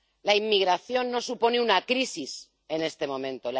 La inmigración no supone una crisis en este momento.